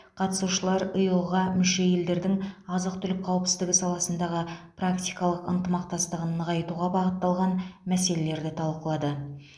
қатысушылар иыұ ға мүше елдердің азық түлік қауіпсіздігі саласындағы практикалық ынтымақтастығын нығайтуға бағытталған мәселелерді талқылады